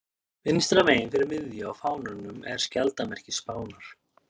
Vinstra megin fyrir miðju á fánanum er skjaldarmerki Spánar.